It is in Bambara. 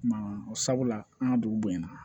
sabula an ka dugu bonyana